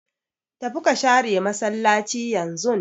Tafi ka share massalaci yanzun!